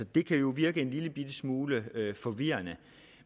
det kan jo virke en lillebitte smule forvirrende